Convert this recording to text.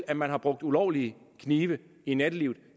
at man har brugt ulovlige knive i nattelivet